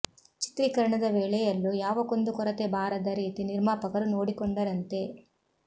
ಚಿತ್ರೀಕರಣದ ವೇಳೆಯಲ್ಲೂ ಯಾವ ಕುಂದು ಕೊರತೆ ಬಾರದ ರೀತಿ ನಿರ್ಮಾಪಕರು ನೋಡಿಕೊಂಡರಂತೆ